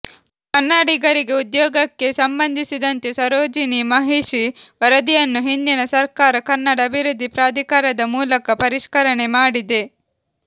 ಕನ್ನಡಿಗರಿಗೆ ಉದ್ಯೋಗಕ್ಕೆ ಸಂಬಂಧಿಸಿದಂತೆ ಸರೋಜಿನಿ ಮಹಿಷಿ ವರದಿಯನ್ನು ಹಿಂದಿನ ಸರ್ಕಾರ ಕನ್ನಡ ಅಭಿವೃದ್ಧಿ ಪ್ರಾಧಿಕಾರದ ಮೂಲಕ ಪರಿಷ್ಕರಣೆ ಮಾಡಿದೆ